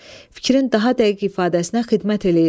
Fikrin daha dəqiq ifadəsinə xidmət eləyir.